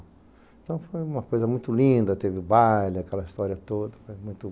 Então foi uma coisa muito linda, teve o baile, aquela história toda, foi muito